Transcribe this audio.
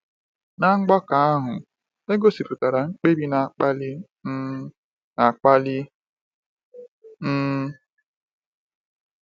Na mgbakọ ndị ahụ, e gosipụtara mkpebi na-akpali um akpali. um